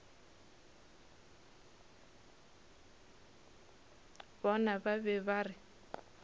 bona ba be ba re